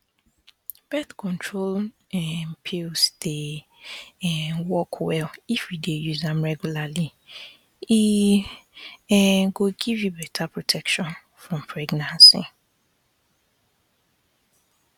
birth control um pills dey um work well if you dey use am regularly e um go give you better protection from pregnancy